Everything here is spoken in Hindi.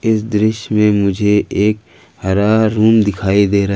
इस दृश्य में मुझे एक हरा रूम दिखाई दे रहा--